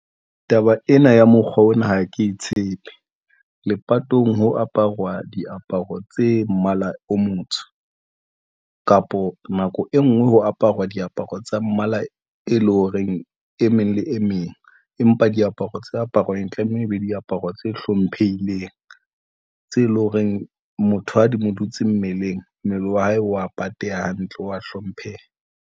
Taba ena ya mokgwa ona ha ke tshepe lepatong ho aparuwa diaparo tse mmala o motsho kapo nako e nngwe ho aparwa diaparo tsa mmala, e leng horeng e meng le e meng, empa diaparo tse aparwang tlameha e be diaparo tse hlomphehileng tse leng horeng. Motho ha di mo dutse mmeleng. Mmele wa hae wa patela hantle o a hlompheha.